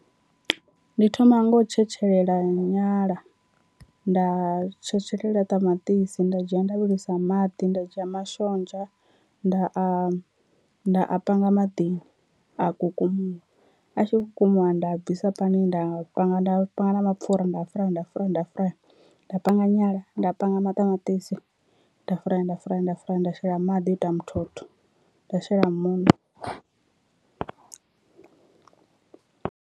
Ndi thoma nga u tshetshelela nyala nda tshetshelela ṱamaṱisi nda dzhia nda vhilisa maḓi nda dzhia mashonzha nda a nda a panga maḓini a kukumuwa, a tshi vho kukumuwa nda bvisa pani nda panga nda panga na mapfhura nda a furaya nda a furaya nda a furaya. Nda panga nyala nda panga maṱamaṱisi nda a furaya nda a furaya nda a furaya nda shela maḓi o ita muthotho nda shela muṋo.